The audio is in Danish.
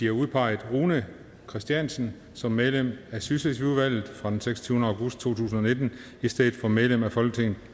har udpeget rune christiansen som medlem af sydslesvigudvalget fra den seksogtyvende august to tusind og nitten i stedet for medlem af folketinget